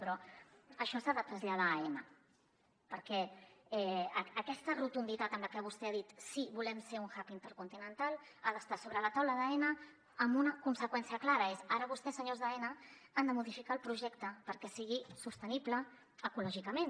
però això s’ha de traslladar a aena perquè aquesta rotunditat amb la que vostè ha dit sí volem ser un hub intercontinental ha d’estar sobre la taula d’aena amb una conseqüència clara que és ara vostès senyors d’aena han de modificar el projecte perquè sigui sostenible ecològicament